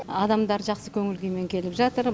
адамдар жақсы көңіл күймен келіп жатыр